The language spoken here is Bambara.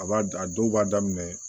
A b'a a dɔw b'a daminɛ